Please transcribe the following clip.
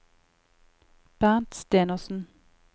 Bernt Stenersen